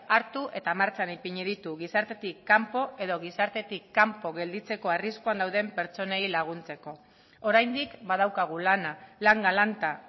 hartu eta martxan ipini ditu gizartetik kanpo edo gizartetik kanpo gelditzeko arriskuan dauden pertsonei laguntzeko oraindik badaukagu lana lan galanta